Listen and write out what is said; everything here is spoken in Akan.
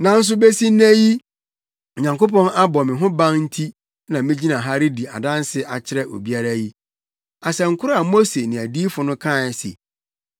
Nanso besi nnɛ yi Onyankopɔn abɔ me ho ban nti na migyina ha redi adanse akyerɛ obiara yi. Asɛm koro a Mose ne adiyifo no kae se